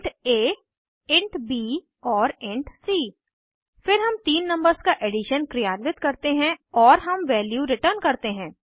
int a int b और int c फिर हम तीन नंबर्स का एडिशन क्रियान्वित करते हैं और हम वैल्यू रिटर्न करते हैं